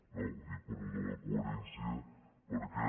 no ho dic per allò de la coherència perquè